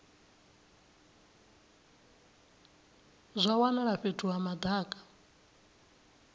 zwa wanala fhethu ha madaka